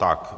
Tak.